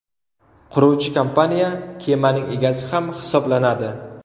Quruvchi kompaniya kemaning egasi ham hisoblanadi.